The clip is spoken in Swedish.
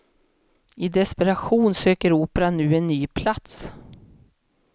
I desperation söker operan nu en ny plats.